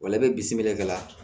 i bɛ bisimila